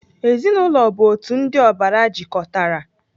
Ezinaụlọ bụ otu ndị ọbara jikọtara.